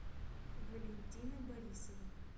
валентина борисова